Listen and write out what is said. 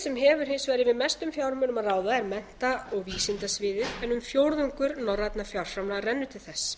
sem hefur hins vegar yfir mestum fjármunum að ráða er mennta og vísindasviðið en um fjórðungur norrænna fjárframlaga rennur til þess